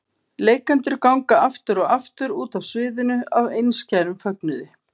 Leikendur ganga aftur og aftur út af sviðinu af einskærum fögnuði.